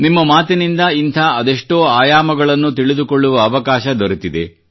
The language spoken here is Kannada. ನಿಮ್ಮ ಮಾತಿನಿಂದ ಇಂಥ ಅದೆಷ್ಟೋ ಆಯಾಮಗಳನ್ನು ತಿಳಿದುಕೊಳ್ಳುವ ಅವಕಾಶ ದೊರೆತಿದೆ